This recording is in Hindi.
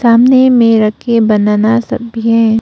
सामने में रखे बनाना सब भी है।